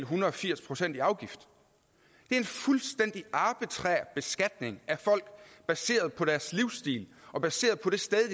hundrede og firs procent i afgift det er en fuldstændig arbitrær beskatning af folk baseret på deres livsstil og baseret på det sted i